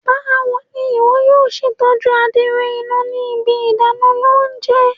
Bawo ni iwọ yoo ṣe tọju adiro ina ni ibi idana ounjẹ?